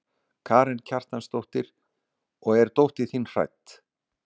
Karen Kjartansdóttir: Og er dóttir þín hrædd?